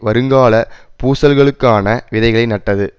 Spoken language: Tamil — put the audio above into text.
வருங்கால பூசல்களுக்கான விதைகளை நட்டது